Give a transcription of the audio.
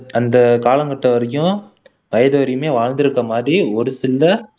அந்த காலகட்டம் வரைக்கும் வயது வரைக்குமே வாழ்ந்திருக்க மாதிரி ஒரு சில